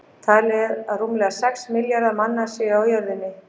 Talið er að rúmlega sex milljarðar manna séu á jörðinni.